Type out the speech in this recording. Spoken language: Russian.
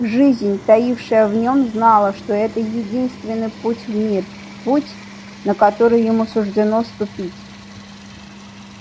жизнь таившая в нём знала что это единственный путь в мир путь на который ему суждено ступить